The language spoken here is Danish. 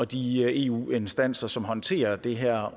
de eu instanser som håndterer det her